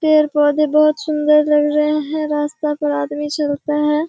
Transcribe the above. पेड़-पौधेे बहुत सुन्दर लग रहें हैं। रास्‍ता पर आदमी चलता है।